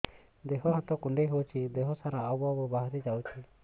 ଦିହ ହାତ କୁଣ୍ଡେଇ ହଉଛି ଦିହ ସାରା ଆବୁ ଆବୁ ବାହାରି ଯାଉଛି